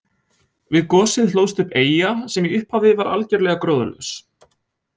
Við gosið hlóðst upp eyja sem í upphafi var algerlega gróðurlaus.